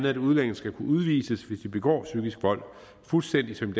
at udlændinge skal kunne udvises hvis de begår psykisk vold fuldstændig som